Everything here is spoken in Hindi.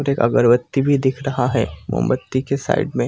अगरबत्ती भी दिख रहा है मोमबत्ती के साइड में --